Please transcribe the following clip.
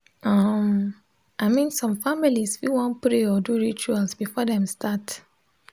um i min som familiz fit wan pray or do rituals before dem start